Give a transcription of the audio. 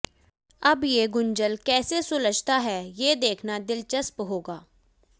अब ये गुंजल कैसे सुलझता है ये देखना दिलचस्प होगा